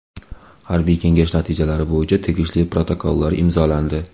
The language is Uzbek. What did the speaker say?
Harbiy kengash natijalari bo‘yicha tegishli protokollar imzolandi.